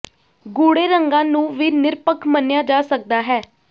ਗੂੜ੍ਹੇ ਰੰਗਾਂ ਨੂੰ ਵੀ ਨਿਰਪੱਖ ਮੰਨਿਆ ਜਾ ਸਕਦਾ ਹੈ